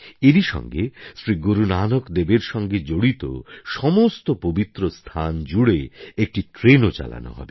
এরই সঙ্গে শ্রী গুরুনানক দেবের সঙ্গে জড়িত সমস্ত পবিত্র স্থান জুড়ে একটি ট্রেনও চালানো হবে